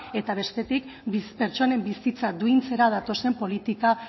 eta bestetik pertsonen bizitza duintzera datozen politika